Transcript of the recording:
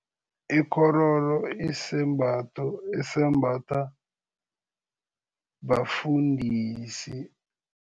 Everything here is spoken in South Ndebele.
Ikghororo isembatho esembathwa bafundisi.